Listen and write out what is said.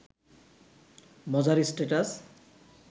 মজার স্ট্যাটাস